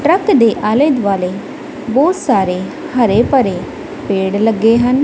Truck ਦੇ ਆਲੇ ਦੁਆਲੇ ਬਹੁਤ ਸਾਰੇ ਹਰੇ ਭਰੇ ਪੇੜ ਲੱਗੇ ਹਨ।